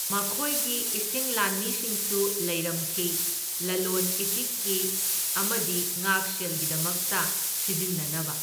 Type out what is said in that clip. ꯃꯈꯣꯢꯒꯤ ꯏꯁꯤꯡ ꯂꯥꯟꯃꯤꯁꯤꯡꯁꯨ ꯂꯩꯔꯝꯈꯤ, ꯂꯂꯣꯟ ꯏꯇꯤꯛꯀꯤ ꯑꯃꯗꯤ ꯉꯥꯛꯁꯦꯜꯒꯤꯗꯃꯛꯇ ꯁꯤꯖꯤꯟꯅꯅꯕ꯫